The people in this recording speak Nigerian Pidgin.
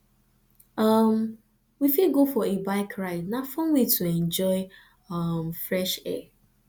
um we fit go for a bike ride na fun way to enjoy um fresh air